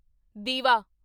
ਦੀਵਾ